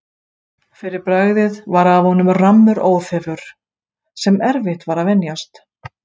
Fyrir bragðið var af honum rammur óþefur, sem erfitt var að venjast.